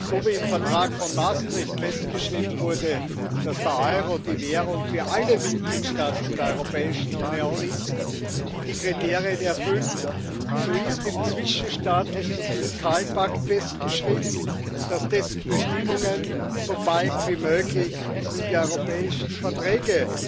So wie im Vertrag von Maastricht festgeschrieben wurde, dass der Euro die Währung für alle Mitgliedstaaten der Europäischen Union ist, die die Kriterien erfüllen, so ist im zwischenstaatlichen Fiskalpakt festgeschrieben, dass dessen Bestimmungen so bald wie möglich in die europäischen Verträge